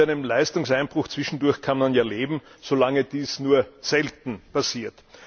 Mit einem Leistungseinbruch zwischendurch kann man ja leben, solange dies nur selten passiert.